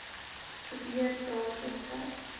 gebeur datum tyd